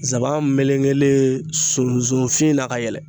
Nsaban melekelen sunsun fin na ka yɛlɛ.